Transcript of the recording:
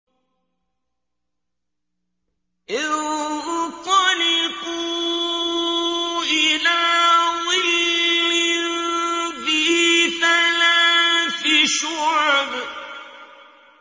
انطَلِقُوا إِلَىٰ ظِلٍّ ذِي ثَلَاثِ شُعَبٍ